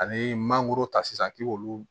Ani mangoro ta sisan k'i k'olu